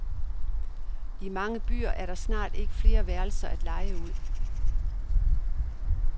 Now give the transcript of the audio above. I mange byer er der snart ikke flere værelser at leje ud.